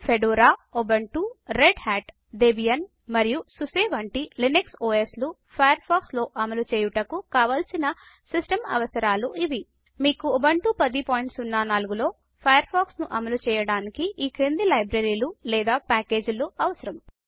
Fedora Ubuntu Red Hat Debian మరియు SUSE వంటి Linux OS లు ఫయర్ ఫాక్స్ లో అమలు చేయుటకు కావలసిన సిస్టమ్ అవసరాలు ఇవి మీకు ఉబుంటు 1004 లో ఫయర్ ఫాక్స్ ను అమలు చేయడానికి ఈ క్రింది లైబ్రరీలు లేదా ప్యాకేజీలు అవసరం